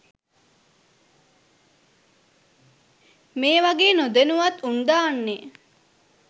මේ වගේ නොදැනුවත් උන් දාන්නේ?